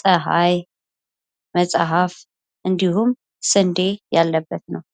ፀሀይ መፅሐፍ እንዲሁም ስንዴ ያለበት ነው።